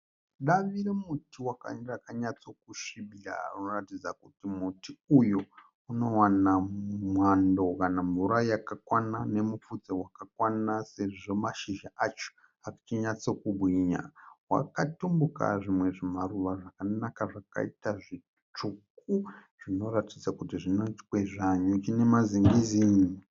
Davi remuti wakanyatso kusvibira .Rinoratidza kuti muti uyu unowana mwando kana mvura yakakwana nemufudzi wakakwana sezvo mashizha acho achinyatso kubhinya .Wakatimbuka zvimwe zvimaruva zvakanaka zvakaita zvitsuku zvino ratidza kuti zvino kwezva nyuchi nema zingizi